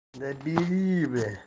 да бери бля